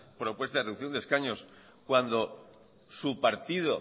propuesta de reducción de escaños cuando su partido